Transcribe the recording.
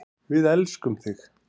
Við elskum þig.